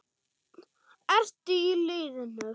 Ertu í liðinu?